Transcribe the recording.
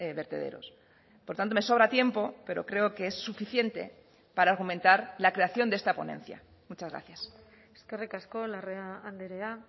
vertederos por tanto me sobra tiempo pero creo que es suficiente para fomentar la creación de esta ponencia muchas gracias eskerrik asko larrea andrea